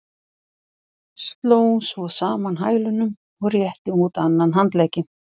Sló svo saman hælunum og rétti út annan handlegginn.